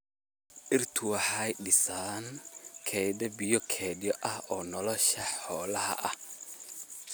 Dhirtu waxay dhisaan kayd biyo kayd ah oo nolosha xoolaha ah.